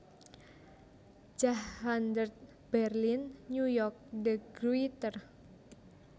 Jahrhundert Berlin New York de Gruyter